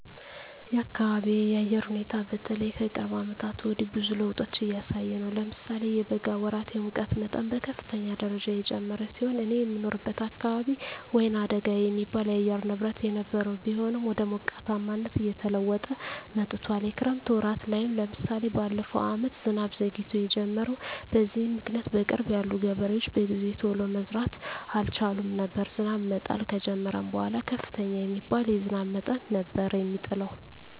የአካቢየ የአየር ሁኔታ በተለይ ከቅርብ አመታት ወዲህ ብዙ ለዉጦች እያሳየ ነው። ለምሳሌ የበጋ ወራት የሙቀት መጠን በከፍተኛ ደረጃ የጨመረ ሲሆን እኔ የምኖርበት አካባቢ ወይናደጋ የሚባል የአየር ንብረት የነበረው ቢሆንም ወደ ሞቃታማነት እየተለወጠ መጥቶአል። የክረምት ወራት ላይም ለምሳሌ በለፈው አመት ዝናብ ዘግይቶ የጀመረው። በዚህም ምክኒያት በቅርብ ያሉ ገበሬዎች በጊዜ ቶሎ መዝራት አልቻሉም ነበር። ዝናብ መጣል ከጀመረም በኃላ ከፍተኛ የሚባል የዝናብ መጠን ነበር የሚጥለው።